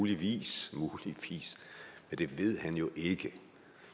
muligvis men det ved han jo ikke